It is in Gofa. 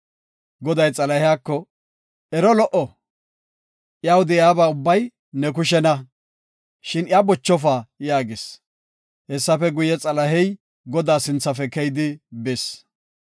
Goday Xalahiyako, “Ero lo77o, iyaw de7iyaba ubbay ne kushena, shin iya bochofa” yaagis. Hessafe guye, Xalahey Godaa sinthafe keyidi bis.